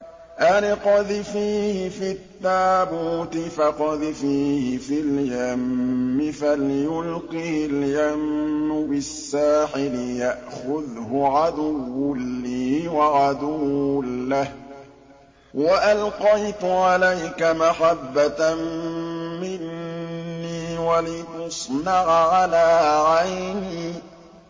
أَنِ اقْذِفِيهِ فِي التَّابُوتِ فَاقْذِفِيهِ فِي الْيَمِّ فَلْيُلْقِهِ الْيَمُّ بِالسَّاحِلِ يَأْخُذْهُ عَدُوٌّ لِّي وَعَدُوٌّ لَّهُ ۚ وَأَلْقَيْتُ عَلَيْكَ مَحَبَّةً مِّنِّي وَلِتُصْنَعَ عَلَىٰ عَيْنِي